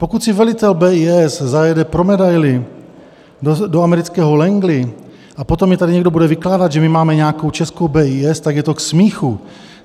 Pokud si velitel BIS zajede pro medaili do amerického Langley a potom mi tady někdo bude vykládat, že my máme nějakou českou BIS, tak je to k smíchu.